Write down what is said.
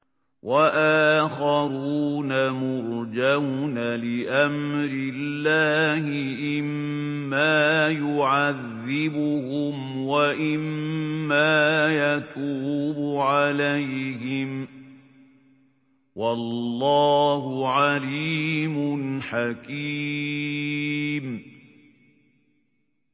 وَآخَرُونَ مُرْجَوْنَ لِأَمْرِ اللَّهِ إِمَّا يُعَذِّبُهُمْ وَإِمَّا يَتُوبُ عَلَيْهِمْ ۗ وَاللَّهُ عَلِيمٌ حَكِيمٌ